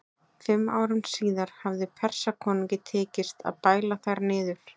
Fimm árum síðar hafði Persakonungi tekist að bæla þær niður.